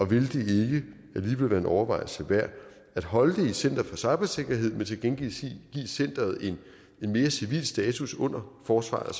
ville være en overvejelse værd at holde det i center for cybersikkerhed men til gengæld give centeret en mere civil status under forsvaret